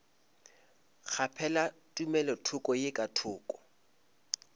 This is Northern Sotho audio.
kgaphela tumelothoko ye ka thoko